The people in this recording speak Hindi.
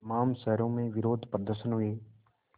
तमाम शहरों में विरोधप्रदर्शन हुए